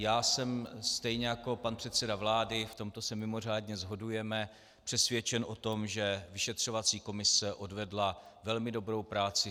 Já jsem - stejně jako pan předseda vlády, v tomto se mimořádně shodujeme - přesvědčen o tom, že vyšetřovací komise odvedla velmi dobrou práci.